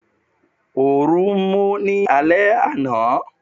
Orun mú ní alé àna